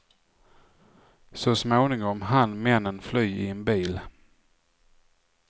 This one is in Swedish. Så småningom hann männen fly i en bil.